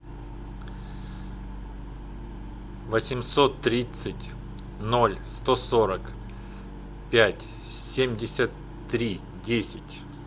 восемьсот тридцать ноль сто сорок пять семьдесят три десять